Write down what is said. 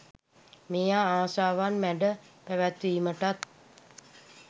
මෙය ආශාවන් මැඩ පැවැත්වීමටත්